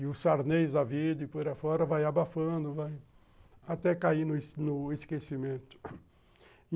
E os sarnês da vida, por aí fora, vai abafando, vai até cair no no esquecimento.